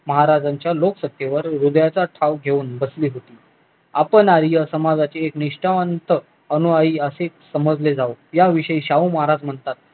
महाराजांच्या लोकसतेवर हृदयाचा ठाव घेऊन बसले होते आपण आर्य समाजचे निष्ठावंत अनुयायी असे समजले जाऊ याविषयी शाहू महाराज म्हणतात